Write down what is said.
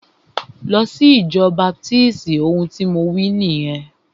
Lọ sí ìjọ baptisti! Ohun tí mo wí nìyẹn.